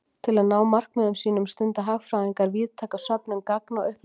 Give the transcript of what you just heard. Til að ná markmiðum sínum stunda hagfræðingar víðtæka söfnun gagna og upplýsinga.